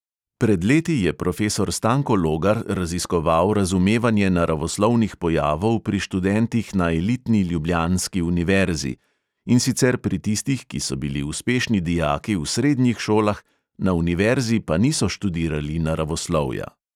Pred leti je profesor stanko logar raziskoval razumevanje naravoslovnih pojavov pri študentih na elitni ljubljanski univerzi, in sicer pri tistih, ki so bili uspešni dijaki v srednjih šolah, na univerzi pa niso študirali naravoslovja.